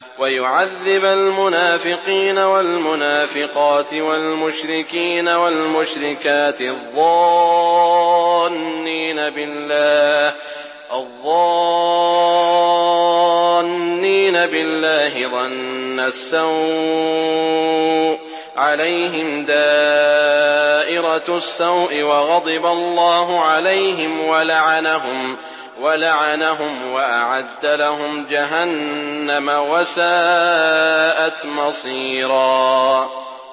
وَيُعَذِّبَ الْمُنَافِقِينَ وَالْمُنَافِقَاتِ وَالْمُشْرِكِينَ وَالْمُشْرِكَاتِ الظَّانِّينَ بِاللَّهِ ظَنَّ السَّوْءِ ۚ عَلَيْهِمْ دَائِرَةُ السَّوْءِ ۖ وَغَضِبَ اللَّهُ عَلَيْهِمْ وَلَعَنَهُمْ وَأَعَدَّ لَهُمْ جَهَنَّمَ ۖ وَسَاءَتْ مَصِيرًا